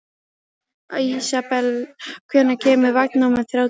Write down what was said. Ísabel, hvenær kemur vagn númer þrjátíu?